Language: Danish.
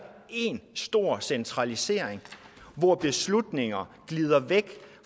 én stor centralisering hvor beslutninger glider væk